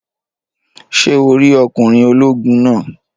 Ṣé o rí ọkùnrin ológun naa?